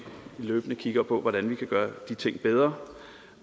løbende kigger på hvordan vi kan gøre bedre